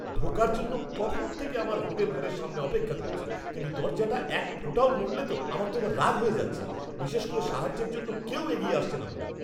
ঢোকার জন্য কখন থেকে আমার হোটেল ঘরের সামনে অপেক্ষা করছি, কিন্তু দরজাটা একফোঁটাও নড়লে তো! আমার এবার রাগ হয়ে যাচ্ছে, বিশেষ করে সাহায্যের জন্য কেউ এগিয়ে আসছে না বলে।